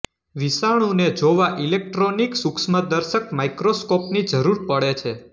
વિષાણુને જોવા ઇલેકટ્રોનિક સૂક્ષ્મદર્શક માક્રોસ્કોપની જરૂર પડે છે